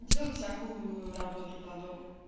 делать всякую работу по дому